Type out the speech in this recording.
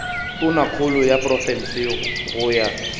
tonakgolo ya profense go ya